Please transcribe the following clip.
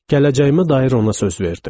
Gələcəyimə dair ona söz verdim.